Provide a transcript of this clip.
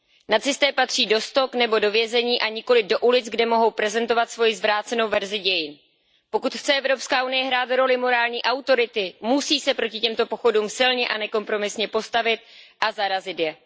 Nacisté patří do stok nebo do vězení, a nikoliv do ulic, kde mohou prezentovat svoji zvrácenou verzi dějin. Pokud chce EU hrát roli morální autority, musí se proti těmto pochodům silně a nekompromisně postavit a zarazit je.